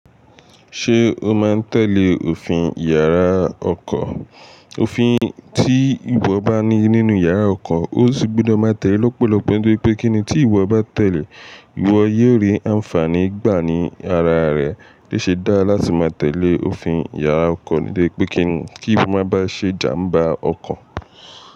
Ṣé o máa ń tẹ̀lé òfin yàrá ọkọ̀? Òfin tí ìwọ bá ní nínú yàrá ọkọ̀, o sì gbọ́dọ̀ máa tẹ̀lé lọ́pọ̀lọpọ̀, nitori pé kíni tí ìwọ bá tẹ̀lé, ìwọ yóò rí àǹfààní gbà ní ara rẹ. Ó ṣeé dára láti máa tẹ̀lé òfin yàrá ọkọ̀ níbí pé kí ìwọ má ba ṣe ìjàmbá ọkọ̀